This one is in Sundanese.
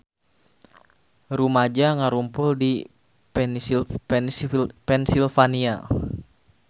Rumaja ngarumpul di Pennsylvania